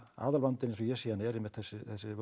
aðalvandinn eins og ég sé hann er einmitt þessi